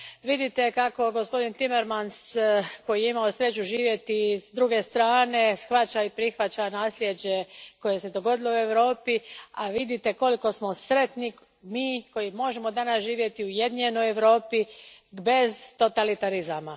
Vidite kako gospodin Timmermans, koji je imao sreću živjeti s druge strane, shvaća i prihvaća nasljeđe koje se dogodilo u Europi, a vidite koliko smo sretni mi koji možemo danas živjeti u ujedinjenoj Europi bez totalitarizama.